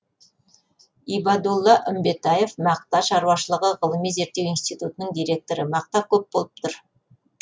ибадулла үмбетаев мақта шаруашылығы ғылыми зерттеу институтының директоры мақта көк болып тұр